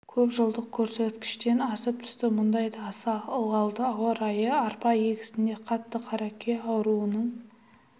көпжылдық көрсеткіштен асып түсті мұндай аса ылғалды ауа райы арпа егісінде қатты қаракүйе ауруының